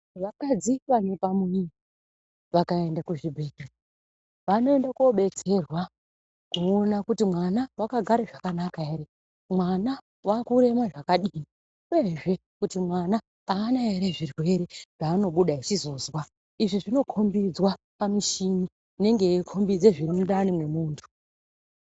Vakadzi vanepamuviri vakaende kuzvibhedhlera vanoende koodetserwa kuona kuti mwana wakagara zvakanaka here, mwana waakurema zvakadini uyezve kuti mwana haana here zvirwere zvaanobuda achizozwa. Izvi zvinokombidzwa pamichini inenge yeikombidza zvirimundani memuntu.